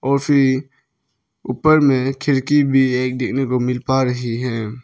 और फिर ऊपर में खिड़की भी एक देखाना को मिल पा रही है।